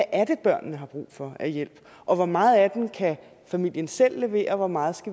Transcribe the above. er børnene har brug for af hjælp og hvor meget af den familien selv kan levere og hvor meget